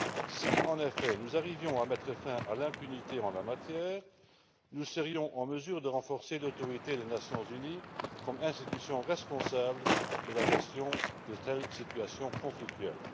Si, en effet, nous arrivions à mettre fin à l'impunité en la matière, nous serions en mesure de renforcer l'autorité des Nations unies comme institution responsable de la gestion de telles situations conflictuelles.